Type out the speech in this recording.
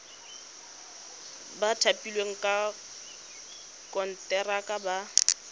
ba thapilweng ka konteraka ba